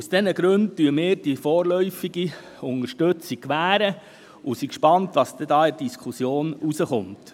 Aus diesen Gründen gewähren wir die vorläufige Unterstützung und sind gespannt auf das, was bei der Diskussion herauskommt.